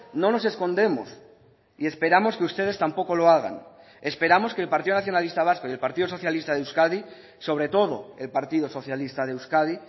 no nos escondemos y esperamos que ustedes tampoco lo hagan esperamos que el partido nacionalista vasco y el partido socialista de euskadi sobre todo el partido socialista de euskadi